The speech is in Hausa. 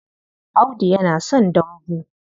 Audu yana son dambu.